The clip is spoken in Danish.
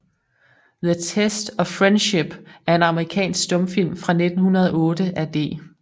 The Test of Friendship er en amerikansk stumfilm fra 1908 af D